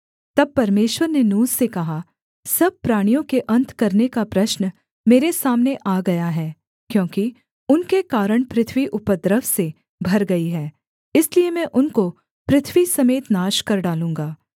तब परमेश्वर ने नूह से कहा सब प्राणियों के अन्त करने का प्रश्न मेरे सामने आ गया है क्योंकि उनके कारण पृथ्वी उपद्रव से भर गई है इसलिए मैं उनको पृथ्वी समेत नाश कर डालूँगा